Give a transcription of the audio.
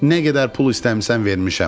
Nə qədər pul istəmisən vermişəm.